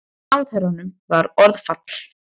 Ráðherranum varð orðfall.